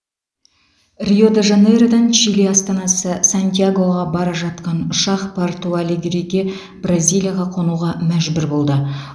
рио де жанейродан чили астанасы сантьягоға бара жатқан ұшақ порту алегриге бразилияға қонуға мәжбүр болды